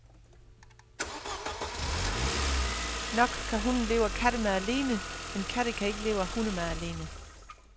Nok kan hunde leve af kattemad alene, men katte kan ikke leve af hundemad alene.